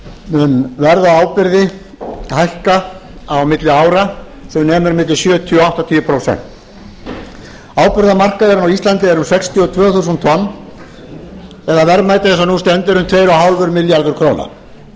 verð á áburði hækka á milli ára sem nemur milli sjötíu til áttatíu prósent áburðarmarkaðurinn á íslandi er um sextíu og tvö þúsund tonn eða verðmætið eins og nú stendur um tvö og hálfur milljarður króna boðuð hækkun á